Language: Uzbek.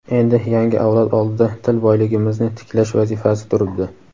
Endi yangi avlod oldida til boyligimizni tiklash vazifasi turibdi.